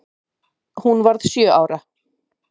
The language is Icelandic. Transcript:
Hún varð sjö ára.